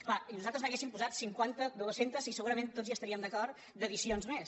clar i nosaltres n’hauríem posat cinquanta du·es·centes i segurament tots hi estaríem d’acord d’ad·dicions més